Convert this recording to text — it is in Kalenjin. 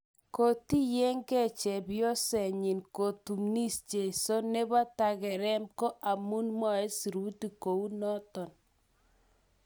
Kotiyen ge chepyosenyin kotunis jesu nepo tangeren ko amun mwae sirutik kou noton.